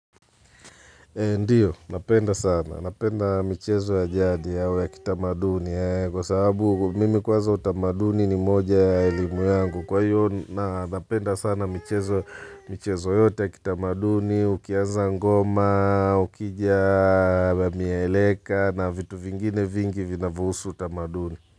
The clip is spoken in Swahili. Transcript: Ndiyo, napenda sana. Napenda michezo ya jadi au ya kitamaduni kwa sababu mimi kwanza utamaduni ni moja ya elimu yangu. Kwa hiyo, napenda sana michezo yote ya kitamaduni, ukianza ngoma, ukija, nieleka na vitu vingine vingi vinavyohusu utamaduni.